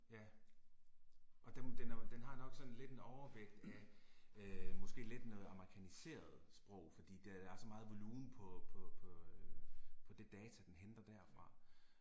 Ja. Og den, den er jo, den har nok sådan lidt en overvægt af øh måske lidt noget amerikaniseret sprog fordi der er så meget volumen på på på øh på det data, den henter derfra